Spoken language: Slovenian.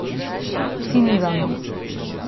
Cinzano.